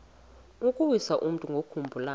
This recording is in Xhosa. ukuwisa umntu ngokumbulala